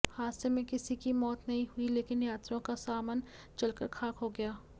हादसे में किसी की मौत नहीं हुई लेकिन यात्रियों का सामन जलकर खाक हो गया